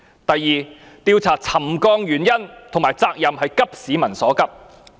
第二，調查沉降原因和責任是急市民所急。